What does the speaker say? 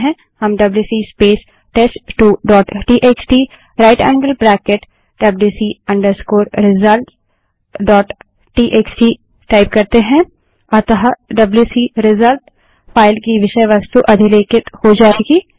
हम WC space test two dot TXT right angled bracket WC result dot TXT WC space test two dot TXT right angled bracket wc results dot TXT type करते हैं अतः WC result file की विषय वस्तु अधिलेखित हो जायेगी